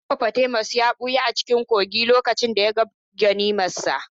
Hippopotamus ya ɓuya a cikin kogin lokacin da ya ga ganimarsa.